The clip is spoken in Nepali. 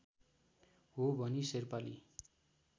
हो भनी शेर्पाली